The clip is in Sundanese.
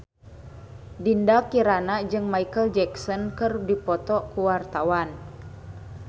Dinda Kirana jeung Micheal Jackson keur dipoto ku wartawan